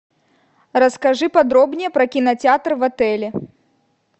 расскажи подробнее про кинотеатр в отеле